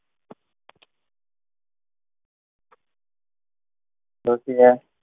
ડોશી એ